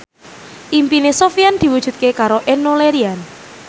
impine Sofyan diwujudke karo Enno Lerian